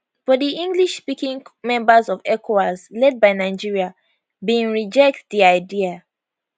but di englishspeaking members of ecowas led by nigeria bin reject di idea